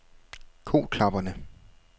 Koklapperne